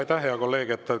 Aitäh, hea kolleeg!